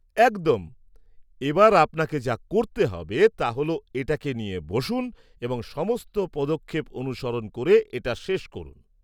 একদম! এবার আপনাকে যা করতে হবে তা হল এটাকে নিয়ে বসুন এবং সমস্ত পদক্ষেপ অনুসরণ করে এটা শেষ করুন।